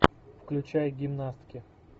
включай гимнастки